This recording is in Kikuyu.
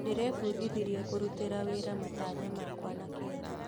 Ndĩrebundithirie kũrutĩra wĩra matanya makwa na kĩo